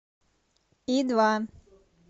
и два